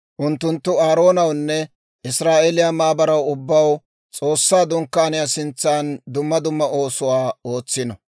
Unttunttu Aaroonawunne Israa'eeliyaa maabaraw ubbaw S'oossaa Dunkkaaniyaa sintsan dumma dumma oosuwaa ootsino.